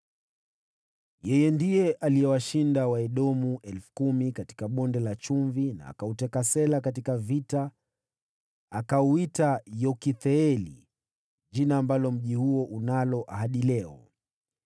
Ndiye aliwashinda Waedomu elfu kumi katika Bonde la Chumvi, na akauteka Sela katika vita, naye akauita Yoktheeli, jina ambalo mji huo unalo hadi leo.